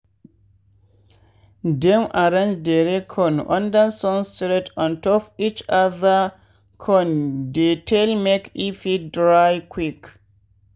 dem arrange dere corn under sun straight ontop each other con dey tall make e fit dry quick.